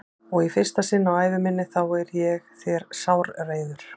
Og í fyrsta sinn á ævi minni þá er ég þér sárreiður.